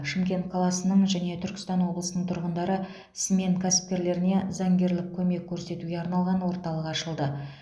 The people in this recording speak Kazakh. шымкент қаласының және түркістан облысының тұрғындары смен кәсіпкерлеріне заңгерлік көмек көрсетуге арналған орталық ашылды